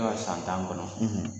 Ne ka san tan kɔnɔ